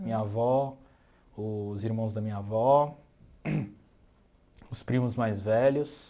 Minha avó, os irmãos da minha avó, os primos mais velhos.